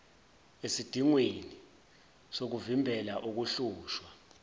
esidingweni sokuvimbela ukuhlushwa